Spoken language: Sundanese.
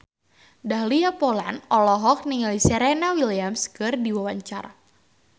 Dahlia Poland olohok ningali Serena Williams keur diwawancara